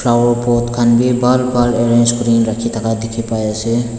flower pot khan bi bhal bhal arrange kurina rakhithaka dikhipaiase.